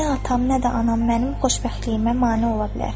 nə atam, nə də anam mənim xoşbəxtliyimə mane ola bilər.